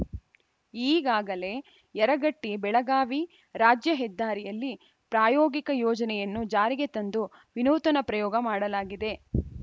ಈಗಾಗಲೇ ಯರಗಟ್ಟಿ ಬೆಳಗಾವಿ ರಾಜ್ಯ ಹೆದ್ದಾರಿಯಲ್ಲಿ ಪ್ರಾಯೋಗಿಕ ಯೋಜನೆಯನ್ನು ಜಾರಿಗೆ ತಂದು ವಿನೂತನ ಪ್ರಯೋಗ ಮಾಡಲಾಗಿದೆ